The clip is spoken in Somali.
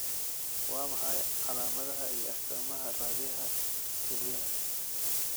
Waa maxay calaamadaha iyo astaamaha Raadiyaha kelyaha?